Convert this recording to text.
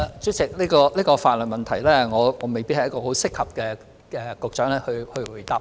主席，對於這項法律問題，我未必是作出回答的適當人選。